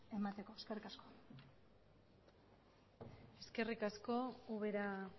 emateko eskerrik asko eskerrik asko ubera